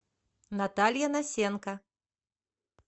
наталья носенко